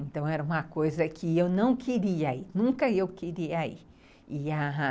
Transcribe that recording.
Então era uma coisa que eu não queria ir, nunca eu queria ir.